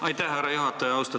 Aitäh, härra juhataja!